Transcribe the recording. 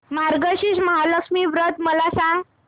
मार्गशीर्ष महालक्ष्मी व्रत मला सांग